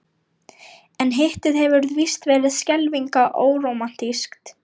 En Hittið hefur víst verið skelfilega órómantískt.